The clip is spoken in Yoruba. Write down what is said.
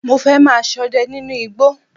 Mo fẹ́ máa sọdẹ nínú igbó